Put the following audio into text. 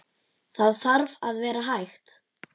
Það þarf að vera hægt.